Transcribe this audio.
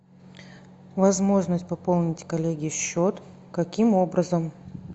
возможность пополнить коллеге счет каким образом